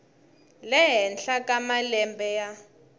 le henhla ka malembe ya